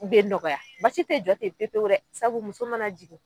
U bɛ nɔgɔya basi si tɛ jɔ ten pewu pewu dɛ sabu muso mana jigin